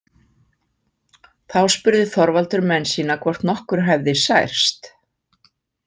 Þá spurði Þorvaldur menn sína hvort nokkur hefði særst.